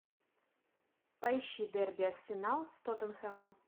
поищи дерби арсенал с тоттенхэмом